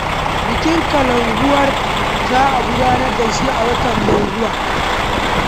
Bikin Kalankuwar za a gudanar da shi a wata mai zuwa